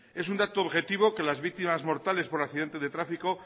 es un dato objetivo que las víctimas mortales por accidente de tráfico